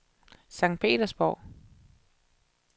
Sankt Petersborg